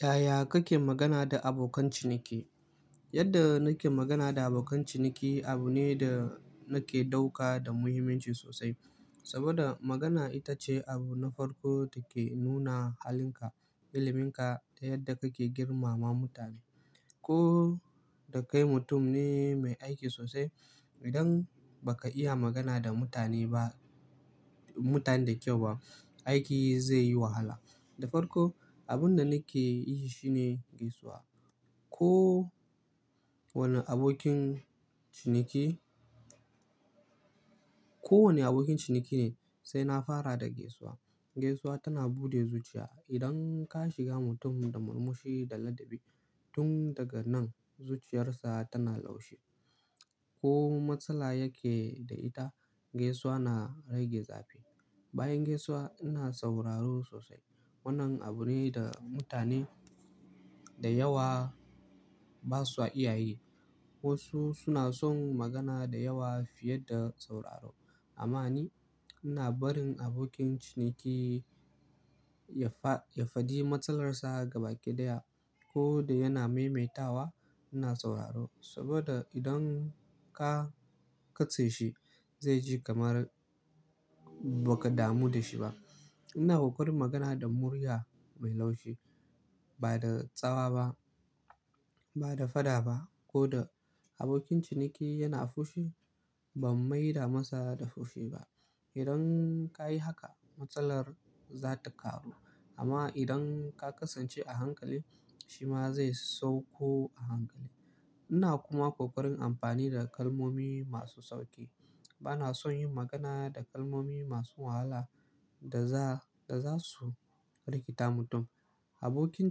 Yaya kake magana da abokan ciniki? Yadda nake magana da abokan ciniki abu ne da nake ɗauka da muhimmanci sosai. Saboda magana ita ce abu na farko take nuna halinka, iliminka da yadda kake girmama mutane. Ko da kai mutum ne mai aiki sosai, idan ba ka iya magana da mutane ba, mutane da kyau ba, aiki zai yi wahala. Da farko, abin da nake yi shine gaisuwa. Ko wani abokin ciniki, ko wani abokin ciniki ne sai na fara da gaisuwa. Gaisuwa tana bude zuciya. Idan ka shiga mutum da murmushi da ladabi, tun daga nan zuciyarsa tana laushi. Ko matsala yake da ita, gaisuwa na rage zafi. Bayan gaisuwa ina sauraro sosai. Wannan abu ne da mutane da yawa ba su iya yi. Wasu suna son magana da yawa fiye da sauraro. Amma ni ina barin abokin ciniki ya faɗi matsalar sa gaba ɗaya. Ko da yana maimaitawa, ina sauraro. Saboda idan ka katse shi zai ji kamar ba ka damu da shi ba. Ina kokarin magana da murya mai laushi, ba da tsawa ba, ba da fada ba. Ko da abokin ciniki yana fushi, ban maida masa da fushi ba. Idan ka yi haka, matsalar za ta ƙaru. Amma idan ka kasance a hankali, shi ma zai sauko a hankali. Ina kuma kokarin amfani da kalmomi masu sauƙi. Ba na son yin magana da kalmomi masu wahala da za su rikita mutum. Abokin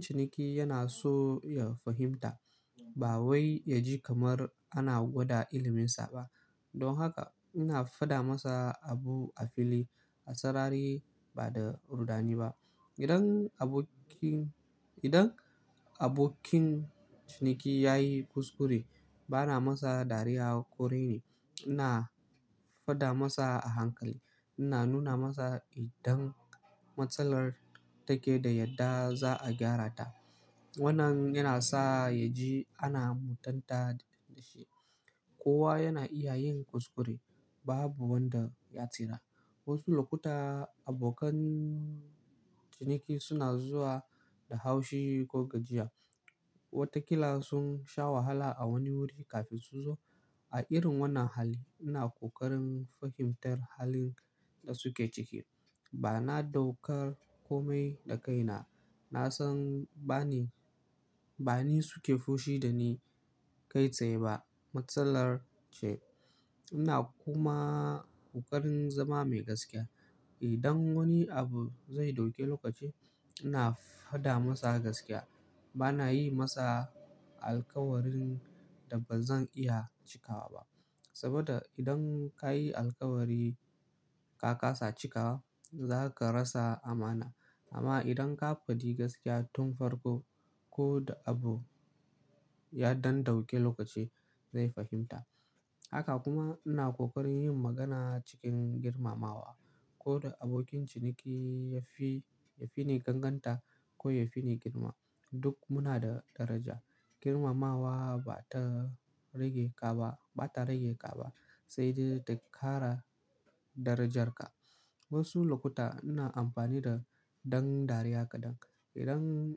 ciniki yana so ya fahimta ba wai ya ji kamar ana gwada ilminsa ba. Don haka ina fada masa abu a fili, a sarari ba da rudani ba. Idan abokin, idan abokin ciniki ya yi kuskure, ba na masa dariya korai ni. Ina fada masa a hankali. Ina nuna masa idan matsalar take da yadda za a gyara ta. Wannan yana sa ya ji ana mutunta shi. Kowa yana iya yin kuskure, babu wanda ya tsira. Wasu lokuta abokan ciniki suna zuwa da haushi ko gajiya. Watakila sun sha wahala a wani wuri kafin su zo. A irin wannan hali ina kokarin fahimtar halin da suke ciki. Ba na ɗaukar komai da kaina. Na san ba ni, ba ni suke fushi da ni kai tsaye ba. Matsalar ce. Ina kuma kokarin zama mai gaskiya. Idan wani abu zai dauki lokaci, ina fada masa gaskiya. Ba na yi masa alkawarin da bazan iya cikawa ba. Saboda idan ka yi alkawari ka kasa cika, za ka rasa amana. Amma idan ka faɗi gaskiya tun farko, ko da abu ya ɗan dauki lokaci zai fahimta. Haka kuma ina kokarin yin magana cikin girmamawa. Ko da abokin ciniki ya fi, ya fi ni ƙanƙanta ko ya fi ni girma. Duk muna da daraja. Girmamawa ba ta rage ka ba, ba ta rage ka ba. Sai dai ta ƙara darajarka. Wasu lokuta ina amfani da ɗan dariya kaɗan. Idan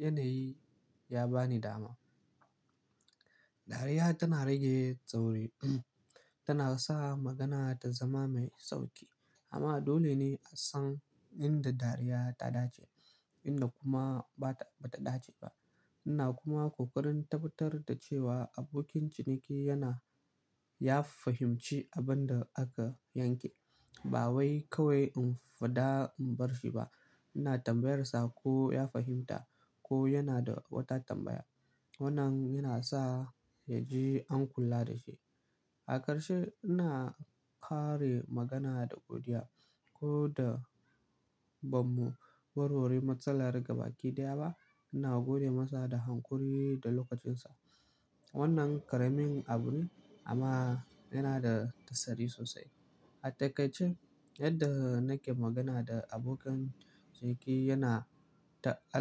yanayi ya ba ni dama. Dariya tana rage tsauri, tana sa magana ta zama mai sauƙi. Amma adole ne a san inda dariya ta dace inda kuma ba ta, ba ta dace ba. Ina kuma kokarin tabbatar da cewa abokin ciniki yana, ya fahimci abin da aka yanke. Ba wai kawai in faɗa in bar shi ba. Ina tambayar sa ko ya fahimta ko yana da wata tambaya. Wannan yana sa ya ji an kula da shi. A ƙarshe, ina ƙare magana da godiya. Ko da bamu warware matsala gaba ɗaya ba, ina gode masa da hanƙori da lokacinsa. Wannan ƙaramin abu ne amma yana da tasiri sosai. A taƙaice yadda nake magana da abokan ciniki yana ta al.